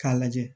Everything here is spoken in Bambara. K'a lajɛ